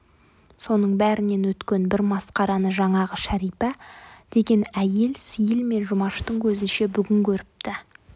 соның бәрінен өткен бір масқараны жаңағы шәрипа деген әйел сейіл мен жұмаштың көзінше бүгін көріпті